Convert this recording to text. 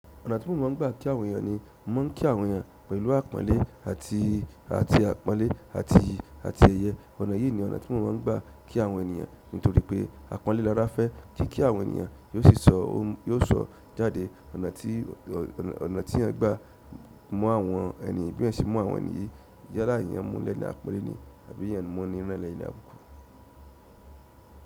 Ọ̀nà tí mò mo n gbà kí àwọn ènìyàn ni mò mo ń kí àwọn ènìyàn pẹ̀lú àpọ́nlé àti àti àpọ́nlé àti àti ẹ̀yẹ. Ọ̀nà yìí ni ọ̀nà tí mò mo n gbà kí àwọn ènìyàn nítorí pé àpọ́nlé lára fẹ́ kí kí àwọn ènìyàn yóò sì sọ ó yóò sọ jáde. Ọ̀nà tí ọ̀nà ọ̀nà tí ẹeyan gbà mu àwọn ẹni yi bí ẹeyan ṣe mu àwọn ènì yí yálà eeyan mú lẹ̀ní àpọ́nlé ni àbí eeyan mú ení náà lení àbùkù.